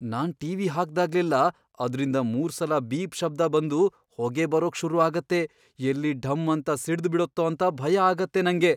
ನಾನ್ TV. ಹಾಕ್ದಾಗ್ಲೆಲ್ಲಾ ಅದ್ರಿಂದ ಮೂರ್ಸಲ ಬೀಪ್ ಶಬ್ದ ಬಂದು ಹೊಗೆ ಬರೋಕ್ ಶುರು ಆಗತ್ತೆ! ಎಲ್ಲಿ ಢಂ ಅಂತ ಸಿಡ್ದ್ಬಿಡತ್ತೋ ಅಂತ ಭಯ ಆಗತ್ತೆ ನಂಗೆ.